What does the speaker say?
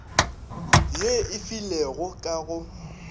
ye e filwego ka go